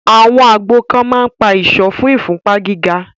àwọn àgbo kan ma ń ìsọ́ fún ìfúnpá gíga.